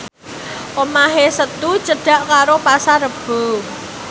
omahe Setu cedhak karo Pasar Rebo